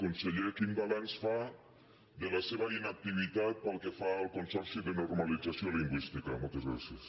conseller quin balanç fa de la seva inactivitat pel que fa al consorci de normalització lingüística moltes gràcies